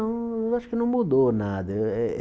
Não, eu acho que não mudou nada. Eh eh